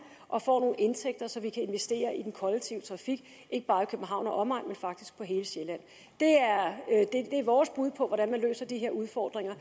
og får nogle indtægter så vi kan investere i den kollektive trafik ikke bare i københavn og omegn men faktisk på hele sjælland det er vores bud på hvordan man løser de her udfordringer